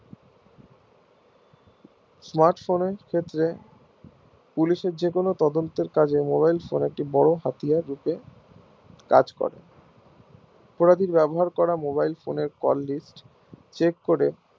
smart phone এর ক্ষেত্রে police এর যে কোনো তদন্তের কাজে mobile phone একটি হাতিয়ার হিসাবে কাজ করে অপরাধীর ব্যবহার করা mobile phone এর call listcheck